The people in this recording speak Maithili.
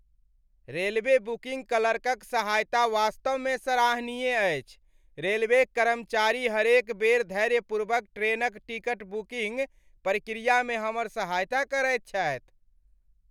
रेलवे बुकिंग क्लर्कक सहायता वास्तवमे सराहनीय अछि, रेलवेक कर्मचारी हरेक बेर धैर्यपूर्वक ट्रेनक टिकट बुकिंग प्रक्रियामे हमर सहायता करैत छथि।